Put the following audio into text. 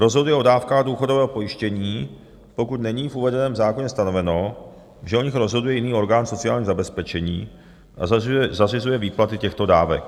rozhoduje o dávkách důchodového pojištění, pokud není v uvedeném zákoně stanoveno, že o nich rozhoduje jiný orgán sociálního zabezpečení, a zařizuje výplaty těchto dávek,